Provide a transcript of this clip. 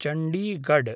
Chandigarh